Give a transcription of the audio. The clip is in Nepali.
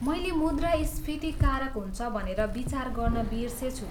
मैले मुद्रास्फीति कारक हुन्छ भनेर विचार गर्न बिर्सेछु।